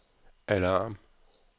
alarm